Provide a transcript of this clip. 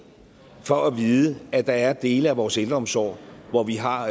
for at vide at der at dele af vores ældreomsorg hvor vi har